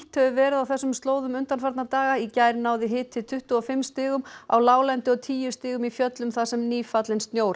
hefur verið á þessum slóðum undanfarna daga í gær náði hiti tuttugu og fimm stigum á láglendi og tíu stigum í fjöllum þar sem nýfallinn snjór